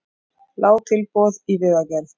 Lág tilboð í vegagerð